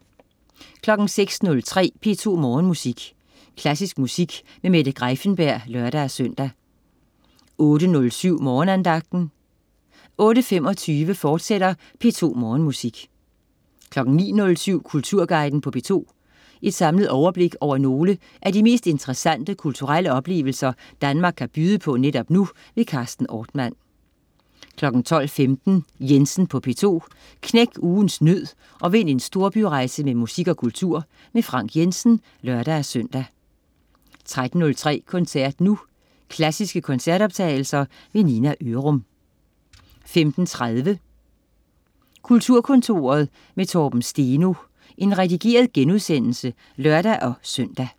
06.03 P2 Morgenmusik. Klassisk musik med Mette Greiffenberg (lør-søn) 08.07 Morgenandagten 08.25 P2 Morgenmusik, fortsat 09.07 Kulturguiden på P2. Et samlet overblik over nogle af de mest interessante kulturelle oplevelser Danmark kan byde på netop nu. Carsten Ortmann 12.15 Jensen på P2. Knæk ugens nød og vind en storbyrejse med musik og kultur. Frank Jensen (lør-søn) 13.03 Koncert nu. Klassiske koncertoptagelser. Nina Ørum 15.30 Kulturkontoret med Torben Steno. Redigeret genudsendelse (lør-søn)